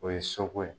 O ye soko ye